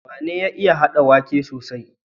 Wane ya iya hada waƙe sosai?